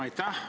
Aitäh!